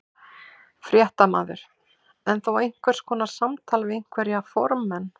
Fréttamaður: En þó einhvers konar samtal við einhverja formenn?